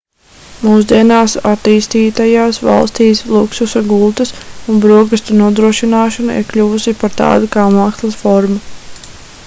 mūsdienās attīstītajās valstīs luksusa gultas un brokastu nodrošināšana ir kļuvusi par tādu kā mākslas formu